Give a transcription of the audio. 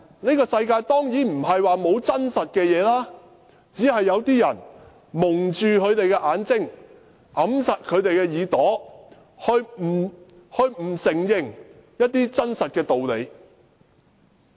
這個世界當然並非沒有實情，只是有些人蒙着眼睛，掩着耳朵，不承認一些真實的道理。